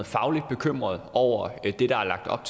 fagligt bekymrede over det der er lagt op